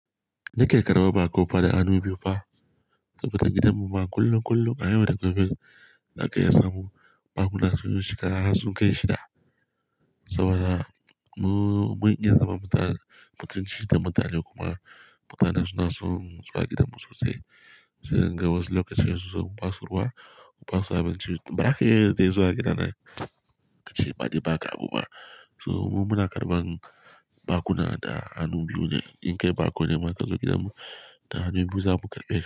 Ni ke karɓar baƙo ba da hannu biyu ba. Saboda gidan mu ma kullum kullum a yau da gobe da aka iya samu bakuna sun zo shiga, har sun kai shida. Saboda mu mun iya zama mutane, mutunci da mutane kuma mutane suna sun zo gidanmu sosai. Sai ga wasu lokaci wasu ba su ruwa, ba su haɓa ci, braka dai zuwa gidana, ka ci ba ne ba ka abu ba. So mu muna karɓan bakuna da hannu biyu ne. In kai baƙo ne ma ka zo gidanmu, da hannu biyu za mu karɓe ka.